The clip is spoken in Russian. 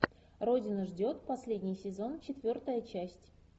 родина ждет последний сезон четвертая часть